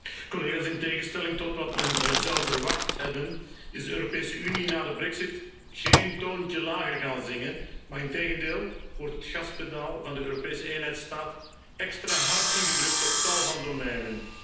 Voorzitter, in tegenstelling tot wat men zou verwacht hebben, is de Europese Unie na de brexit geen toontje lager gaan zingen, maar integendeel wordt het gaspedaal van de Europese eenheidsstaat extra hard ingedrukt op tal van domeinen.